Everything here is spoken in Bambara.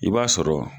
I b'a sɔrɔ